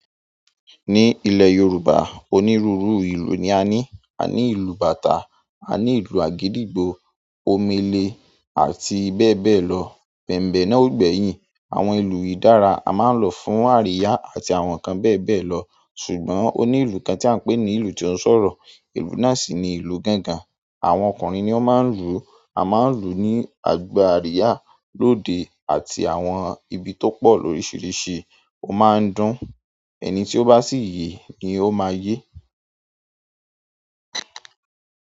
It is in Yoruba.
Ní ilẹ̀ Yorùbá, onírúurú ìlù ni a ní. A ní ìlù bàtá, a ní ìlù àgídìgbo, omele àti bẹ́ẹ̀ bẹ́ẹ̀ lọ. Bẹ̀mbé náà ò gbẹ́yìn, àwọn ìlú yi dára a máa ń lọ fún àríyá àti àwọn kan bẹ́ẹ̀ bẹ́ẹ̀ lọ. Ṣùgbọ́n onílù kan tí à ń pè ní ìlù tí ó ń sọ̀rọ̀, ìlú náà sì ni ìlú gangan. Àwọn ọkùnrin ni ó máa ń lù, a máa ń lù oní agbá àríyá, lóde àti àwọn ibi tó pọ̀ lóríṣiríṣi, ó máa ń dún. Ẹni ti o ba si ye no maa ye.